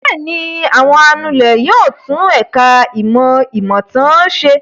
Bẹ́ẹ̀ ni, àwọn anulẹ̀ yóò tún ẹ̀ka-ìmọ̀ ìmọ̀-ìtàn ṣe.